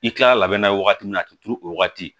I kilala n'a ye wagati min na a ti turu o wagati